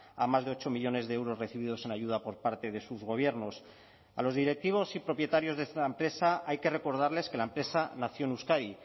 a más de ocho millónes de euros recibidos en ayuda por parte de sus gobiernos a los directivos y propietarios de esta empresa hay que recordarles que la empresa nació en euskadi